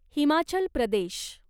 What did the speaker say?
Himachal Pradesh